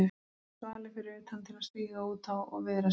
Svalir fyrir utan til að stíga út á og viðra sig.